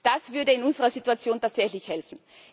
Das würde in unserer Situation tatsächlich helfen.